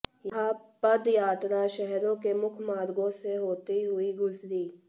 यह पदयात्रा शहरों के मुख्य मार्गों से होते हुई गुजरी